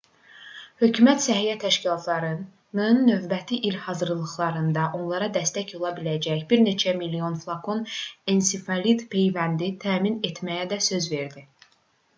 hökumət səhiyyə təşkilatlarının növbəti il hazırlıqlarında onlara dəstək ola biləcək bir neçə milyon flakon ensefalit peyvəndi təmin etməyə də söz verdi